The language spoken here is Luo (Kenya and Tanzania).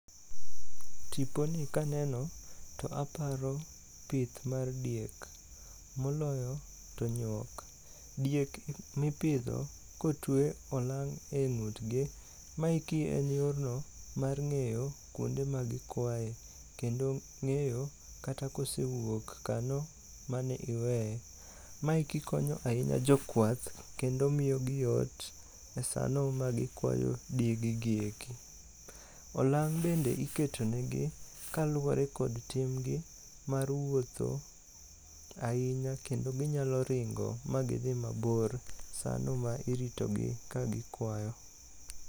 Tiponi kaneno to aparo pith mar diek, moloyo to nyuok. Diek mipidho kotuwe olang' e ng'utgi, maeki en yorno mar ng'eyo kwonde magikwaye, kendo ng'eyo kata kosewuok kanyo maniweye. Ma eki konyo ahinya jokwath kendo miyogi yot e sano magikwayo diegegi eki. Olang' bende iketo negi kaluwore kod timgi mar wuotho ahinya kendo ginyalo ringo ma gidhi mabor sano ma iritogi kagikwayo.